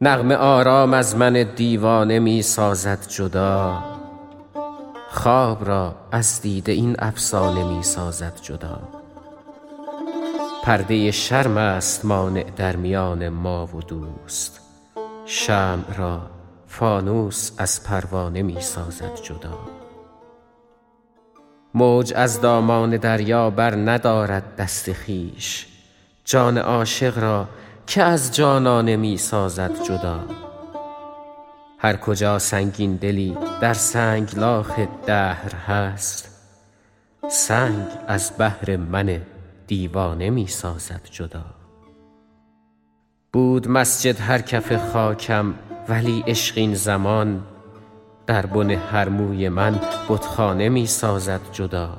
نغمه آرام از من دیوانه می سازد جدا خواب را از دیده این افسانه می سازد جدا پرده شرم است مانع در میان ما و دوست شمع را فانوس از پروانه می سازد جدا موج از دامان دریا برندارد دست خویش جان عاشق را که از جانانه می سازد جدا هرکجا سنگین دلی در سنگلاخ دهر هست سنگ از بهر من دیوانه می سازد جدا بود مسجد هر کف خاکم ولی عشق این زمان در بن هر موی من بتخانه می سازد جدا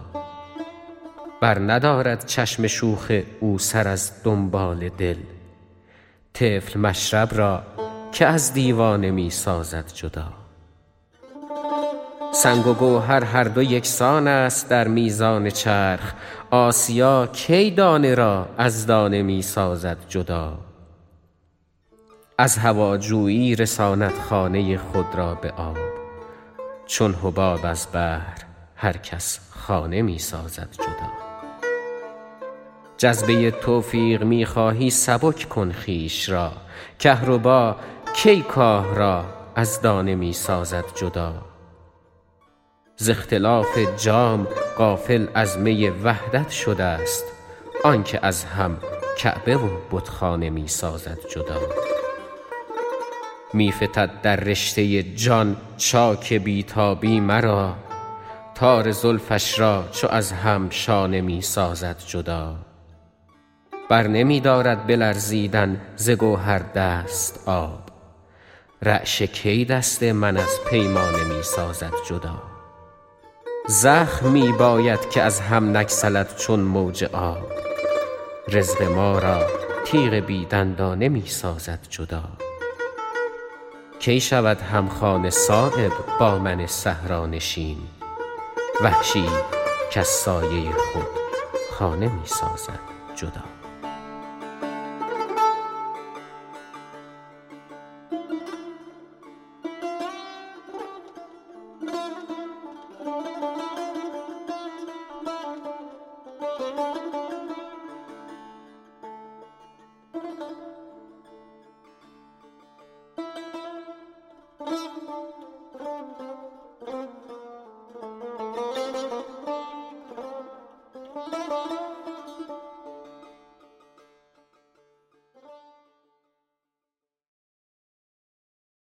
برندارد چشم شوخ او سر از دنبال دل طفل مشرب را که از دیوانه می سازد جدا سنگ و گوهر هر دو یکسان است در میزان چرخ آسیا کی دانه را از دانه می سازد جدا از هواجویی رساند خانه خود را به آب چون حباب از بحر هر کس خانه می سازد جدا جذبه توفیق می خواهی سبک کن خویش را کهربا کی کاه را از دانه می سازد جدا ز اختلاف جام غافل از می وحدت شده ست آن که از هم کعبه و بتخانه می سازد جدا می فتد در رشته جان چاک بی تابی مرا تار زلفش را چو از هم شانه می سازد جدا برنمی دارد به لرزیدن ز گوهر دست آب رعشه کی دست من از پیمانه می سازد جدا زخم می باید که از هم نگسلد چون موج آب رزق ما را تیغ بی دندانه می سازد جدا کی شود همخانه صایب با من صحرانشین وحشی ای کز سایه خود خانه می سازد جدا